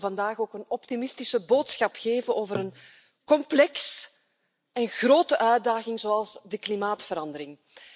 Ik wil vandaag dan ook een optimistische boodschap brengen over een complexe en grote uitdaging als de klimaatverandering.